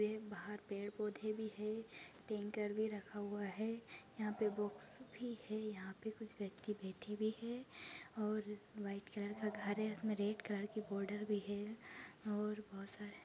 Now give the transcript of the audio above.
बाहर पेड़ पौधे भी है टैंकर भी रखा हुआ है यँहा पे बॉक्स भी है यँहा पे कुछ व्यक्ति बैठे भी है और वाइट कलर का घर है उसमे रेड कलर की बॉर्डर भी है और बहुत सारे--